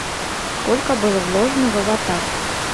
сколько было вложено в аватар